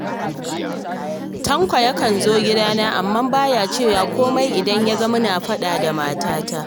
Tanko yakan zo gidana, amma ba ya cewa komai idan ya ga muna faɗa da matata